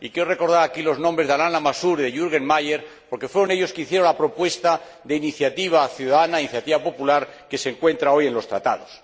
Y quiero recordar aquí los nombres de Alain Lamassoure y Jürgen Mayer, porque fueron ellos los que formularon la propuesta de iniciativa ciudadana, iniciativa popular, que se encuentra hoy en los Tratados.